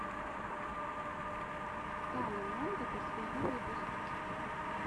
тана монго последний выпуск